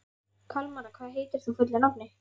Kalmara, hvað heitir þú fullu nafni?